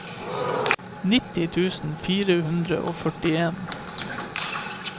nitti tusen fire hundre og førtien